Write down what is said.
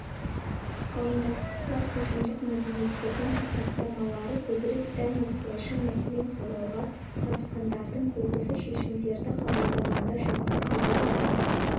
қауымдастыққа ұжымдық мәдениеттердің сипаттамалары көбірек тән осылайша мәселен сауалға қатысқандардың көбісі шешімдерді қабылдағанда жалпы қабылданған